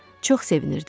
Çox sevinirdim.